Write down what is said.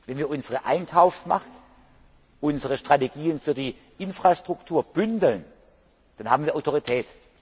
Wenn wir unsere Einkaufsmacht, unsere Strategien für die Infrastruktur bündeln, dann haben wir Autorität.